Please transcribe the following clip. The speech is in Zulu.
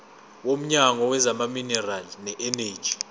womnyango wezamaminerali neeneji